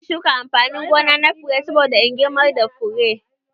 Zan shuka amfanin gona na fure saboda in girmar da fure